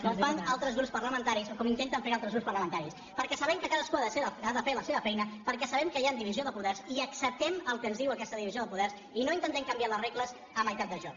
com fan altres grups parlamentaris o com intenten fer altres grups parlamentaris perquè sabem que cadascú ha de fer la seva feina perquè hi ha divisió de poders i acceptem el que ens diu aquesta divisió de poders i no intentem canviar les regles a meitat de joc